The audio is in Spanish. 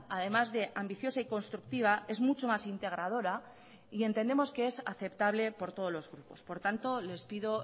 además de ambiciosa y constructiva es mucho más integradora y entendemos que es aceptable por todos los grupos por tanto les pido